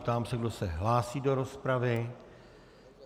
Ptám se, kdo se hlásí do rozpravy.